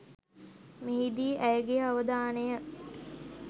මෙහිදී ඇයගේ අවධානය